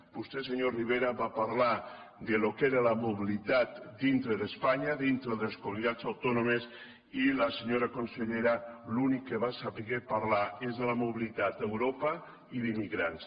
vostè senyor rivera va parlar del que era la mobilitat dintre d’espanya dintre de les comunitats autònomes i la senyora consellera de l’únic que va saber parlar és de la mobilitat a europa i d’immigrants